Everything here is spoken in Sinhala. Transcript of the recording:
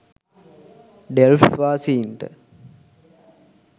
ඩෙල්ෆ්ට් වාසීන්ට